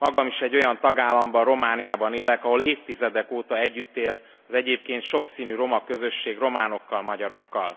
Magam is egy olyan tagállamban, Romániában élek, ahol évtizedek óta együtt él az egyébként sokszínű roma közösség románokkal, magyarokkal.